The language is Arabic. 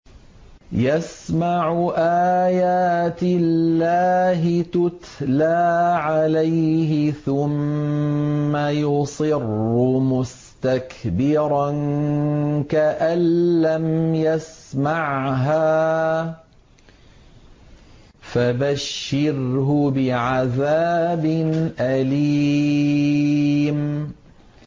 يَسْمَعُ آيَاتِ اللَّهِ تُتْلَىٰ عَلَيْهِ ثُمَّ يُصِرُّ مُسْتَكْبِرًا كَأَن لَّمْ يَسْمَعْهَا ۖ فَبَشِّرْهُ بِعَذَابٍ أَلِيمٍ